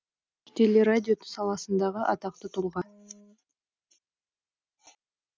теле радио саласындағы атақты тұлға